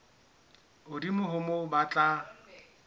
hodimo ho moo ba tla